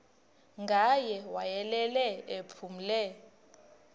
ngaye wayelele ephumle